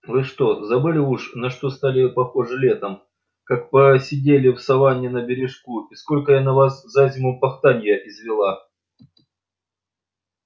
вы что забыли уж на что стали похожи летом как посидели в саванне на бережку и сколько я на вас за зиму пахтанья извела